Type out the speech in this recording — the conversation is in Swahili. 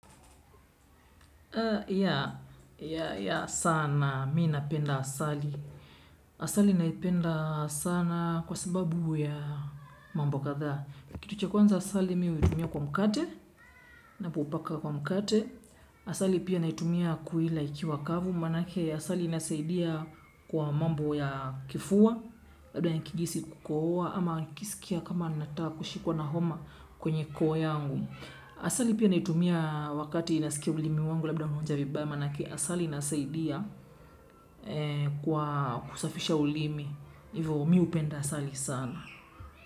Ya ya ya sana mimi napenda asali. Asali naipenda sana kwa sababu ya mambo kadhaa. Kitu cha kwanza asali mimi huitumia kwa mkate ninapopaka kwa mkate. Asali pia naitumia kuila ikiwa kavu. Maanake asali inasaidia kwa mambo ya kifua labda nikihisi kukohoa ama nikisikia kama nataka kushikwa na homa kwenye koo yangu asali pia naitumia wakati nasikia ulimi wangu labda unaoanja vibaya maanake asali inasaidia kwa kusafisha ulimi hivyo mimi hupenda asali sana.